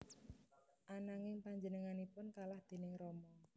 Ananging panjenenganipun kalah déning Rama